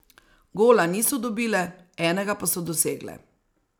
Gola niso dobile, enega pa so dosegle.